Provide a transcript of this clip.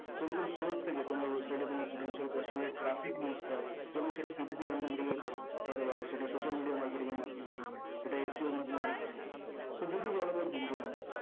কোন কোন source থেকে তোমার website এ তোমার potential customer এর traffic আনতে হবে যেমন সেটা PPCcampaign থেকে হতে পারে সেটা social media marketing এর মাধ্যমে হতে পারে। সেটা SEO এর মাধ্যমে হতে পারে। so this is all about digital marketing